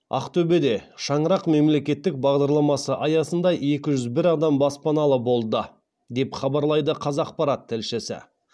ақтөбеде шаңырақ мемлекеттік бағдарламасы аясында екі жүз бір адам баспаналы болды деп хабарлайды қазақпарат тілшісі